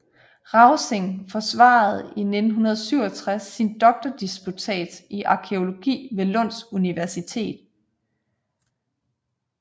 Rausing forsvarede i 1967 sin doktordisputats i arkæologi ved Lunds universitet